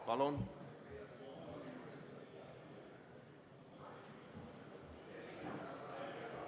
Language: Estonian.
Palun!